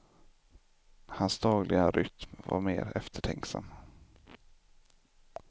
Hans dagliga rytm var mer eftertänksam.